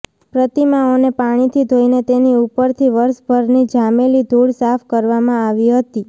પ્રતિમાઓને પાણીથી ધોઈને તેની ઉપરથી વર્ષભરની જામેલી ધુળ સાફ કરવામાં આવી હતી